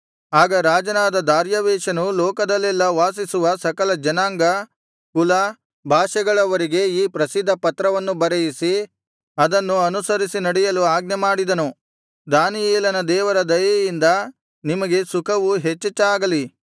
ಆಗ ರಾಜನಾದ ದಾರ್ಯಾವೆಷನು ಲೋಕದಲ್ಲೆಲ್ಲಾ ವಾಸಿಸುವ ಸಕಲ ಜನಾಂಗ ಕುಲ ಭಾಷೆಗಳವರಿಗೆ ಈ ಪ್ರಸಿದ್ಧ ಪತ್ರವನ್ನು ಬರೆಯಿಸಿ ಅದನ್ನು ಅನುಸರಿಸಿ ನಡೆಯಲು ಆಜ್ಞೆಮಾಡಿದನು ದಾನಿಯೇಲನ ದೇವರ ದಯೆಯಿಂದ ನಿಮಗೆ ಸುಖವು ಹೆಚ್ಚೆಚ್ಚಾಗಲಿ